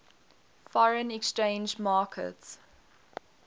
foreign exchange market